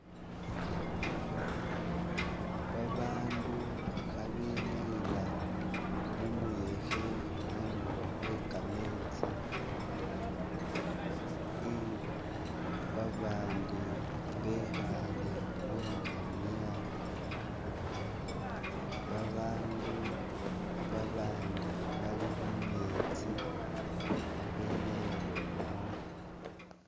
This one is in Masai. Babandu khabenyayila mumuyekhe khundulo khwekametsi eh babandi bekhaale khungamya babandu babandi bali mumetsi khabenyayila umwo